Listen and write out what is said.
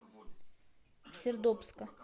сердобска